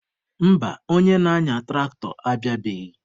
Mba, onye na-anya tụraktọ abịabeghị